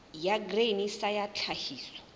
ya grain sa ya tlhahiso